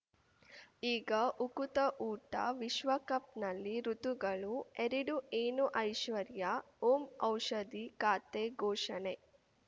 ಈಗ ಉಕುತ ಊಟ ವಿಶ್ವಕಪ್‌ನಲ್ಲಿ ಋತುಗಳು ಎರಡು ಏನು ಐಶ್ವರ್ಯಾ ಓಂ ಔಷಧಿ ಖಾತೆ ಘೋಷಣೆ